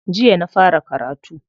Jiya na fara karatu.